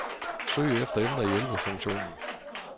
Søg efter emner i hjælpefunktionen.